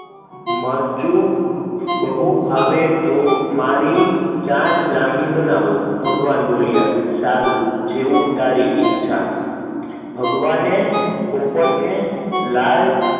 મરચું બહુ ભાવે મારી તો ચાંચ લાલ બનાવો, સારું જેવી તારી ઈચ્છા, ભગવાને પોપટ ને લાલ